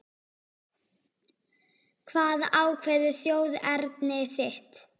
Hvað ákveður þjóðerni þitt?